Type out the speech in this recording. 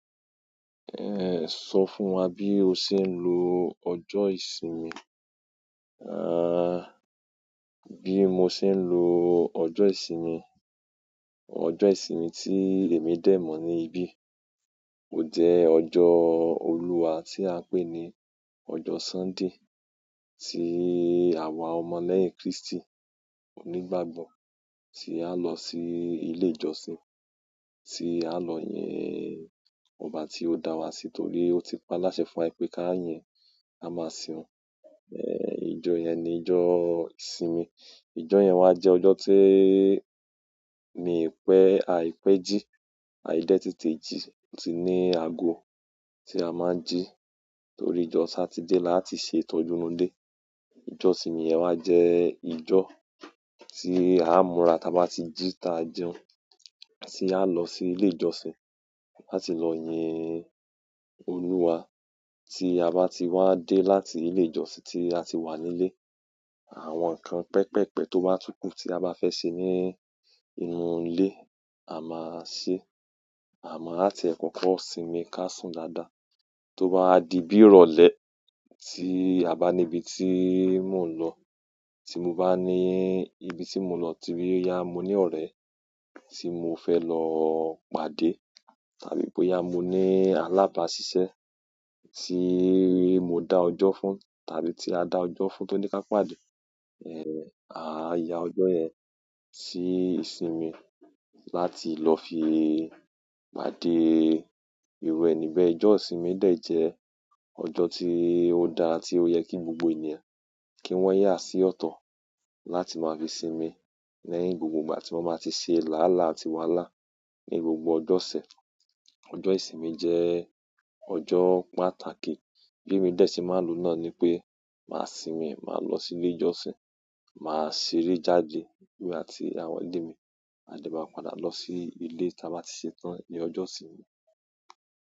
Eh, sọ fún wa bí o ṣe ń lo ọjọ́ ìsinmi. Ah, bí mo ṣe ń lo ọjọ́ ìsinmi. Ọjọ́ ìsinmi tí èmi dè mọ̀ ní ibí, ó jẹ́ ọjọ́ Olúwa tí a ń pè ní ọjọ́ Sunday, tí àwa ọmọ lẹ́yìn Kristi onígbàgbọ́ tí a lọ sí ilé ìjọsìn, tí a lọ yẹn ọba tí ó dá wa sí torí ó ti paláṣẹ fún wa pé ká yin, ka máa sin oun. Eh, ìjọ yẹn ni ìjọ ìsinmi. Ìjọ yẹn wá jẹ ọjọ́ tí mi pẹ́, aìpẹ́ jí, aì dẹ́ tètè jí, ó tì ní ago tí a má ń jí torí ìjọ Satide láti ṣe ìtọ́jú won de. Ìjọ ìsinmi wá jẹ ìjọ tí a ń múra táa bá ti jí ta jẹun, tí a lọ sí ilé ìjọsìn láti lọ yin Olúwa. Ti a ba ti wa de láti ile ìjọsìn ti a ti wa nile àwọn nkan pepee pe to ba tun ku ti a ba fe se nínú ile, a tun ma se. A mo a tí e koko sinmi ká sùn dáadáa. Tó bá di bí rọ̀lẹ́ tí a bá níbi tí mò ń lọ, tí mo bá ní ibi tí mò ń lọ ti boyá mo ní ọ̀rẹ́ tí mò fẹ́ lọ pàdé, tàbí pe boyá mi ní alábàásisẹ́ tí mò dá ọjọ́ fún, tàbí tí a dá ọjọ́ fún tó ní ká pàdé, eh, a yá ọjọ́ yẹn sí ìsinmi láti lọ fi pàdé irú ẹni bẹ́ẹ̀. Ìjọ ìsinmi dè jẹ́ ọjọ́ tí ó dára tí ó yẹ kí gbogbo ènìyàn kí wọ́n yá sí ọ̀tọ̀ láti máa fi sinmi lẹ́yìn gbogbo ìgbà tí wọ́n máa ti ṣe làálàá àti wàláà ní gbogbo ọjọ́ ọṣẹ̀. Ọjọ́ ìsinmi jẹ́ ọjọ́ pàtàkì. Bí mí dè tí mà ń lo náà ni pé, màá sinmi, màá lọ sí ilé ìjọsìn, màá ṣeré jáde emi àti àwọn ilé mi, a dẹ́ má padà lọ sí ilé táa bá ti ṣe tán ní ọjọ́ ìsinmi.